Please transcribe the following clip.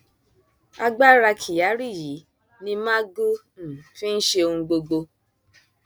agbára kyari yìí ni magu um fi ń ṣe ohun gbogbo